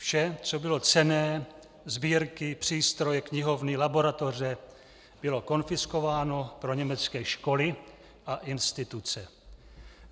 Vše, co bylo cenné - sbírky, přístroje, knihovny, laboratoře -, bylo konfiskováno pro německé školy a instituce.